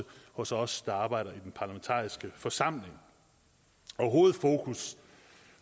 hos os der arbejder i den parlamentariske forsamling og hovedfokus